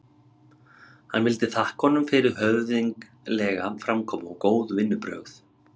Hann vildi þakka honum fyrir höfðinglega framkomu og góð vinnubrögð.